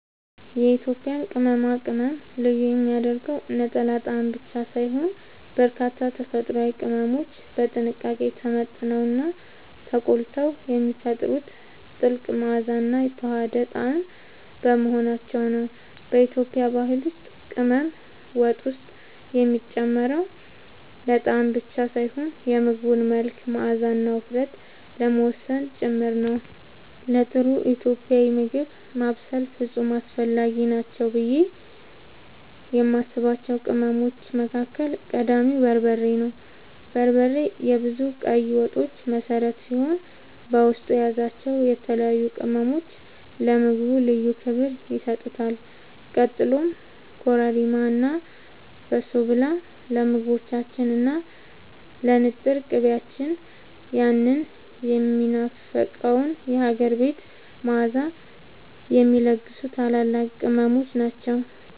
የኢትዮጵያን ቅመማ ቅመም ልዩ የሚያደርገው ነጠላ ጣዕም ብቻ ሳይሆን፣ በርካታ ተፈጥሯዊ ቅመሞች በጥንቃቄ ተመጥነውና ተቆልተው የሚፈጥሩት ጥልቅ መዓዛና የተዋሃደ ጣዕም በመሆናቸው ነው። በኢትዮጵያ ባህል ውስጥ ቅመም ወጥ ውስጥ የሚጨመረው ለጣዕም ብቻ ሳይሆን የምግቡን መልክ፣ መዓዛና ውፍረት ለመወሰን ጭምር ነው። ለጥሩ ኢትዮጵያዊ ምግብ ማብሰል ፍጹም አስፈላጊ ናቸው ብዬ የማስባቸው ቅመሞች መካከል ቀዳሚው በርበሬ ነው። በርበሬ የብዙ ቀይ ወጦች መሠረት ሲሆን፣ በውስጡ የያዛቸው የተለያዩ ቅመሞች ለምግቡ ልዩ ክብር ይሰጡታል። ቀጥሎም ኮረሪማ እና በሶብላ ለምግቦቻችን እና ለንጥር ቅቤያችን ያንን የሚናፈቀውን የሀገር ቤት መዓዛ የሚለግሱ ታላላቅ ቅመሞች ናቸው።